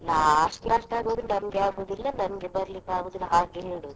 last last ಆಗುವಾಗ ನಂಗೆ ಆಗುದಿಲ್ಲ, ನಂಗೆ ಬರ್ಲಿಕ್ಕೆ ಆಗುದಿಲ್ಲ ಹಾಗೆ ಹೇಳುವುದು.